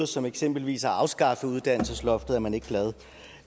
som eksempelvis at afskaffe uddannelsesloftet er man glad